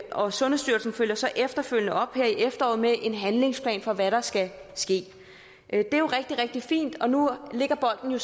og sundhedsstyrelsen følger så efterfølgende op her i efteråret med en handlingsplan for hvad der skal ske det er jo rigtig rigtig fint og nu ligger bolden jo